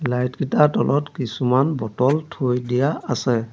Light কিটাৰ তলত কিছুমান বটল থৈ দিয়া আছে।